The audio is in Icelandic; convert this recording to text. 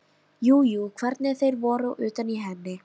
Jú jú, sjá hvernig þeir voru utan í henni.